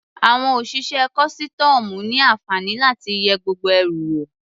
Àwọn òṣìṣẹ́ kọ́sítọ́ọ̀mù ní àǹfààní láti yẹ gbogbo ẹrù wò.